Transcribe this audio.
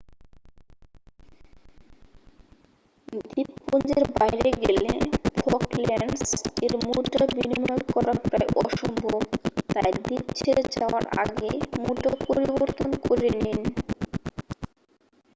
দ্বীপপুঞ্জের বাইরে গেলে ফকল্যান্ডস এর মুদ্রা বিনিময় করা প্রায় অসম্ভব তাই দ্বীপ ছেড়ে যাওয়ার আগেই মুদ্রা পরিবর্তন করে নিন